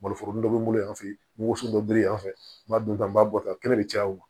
Malo foro dɔ bɛ n bolo yan fɛ woson dɔ bere yanfan fɛ n b'a dun tan n b'a bɔ tan kɛnɛ bɛ caya o ma